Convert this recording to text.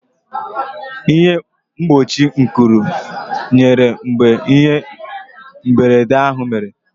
Ịhe mgbochi nkụrị nyere mgbe ihe mberede ahụ mere.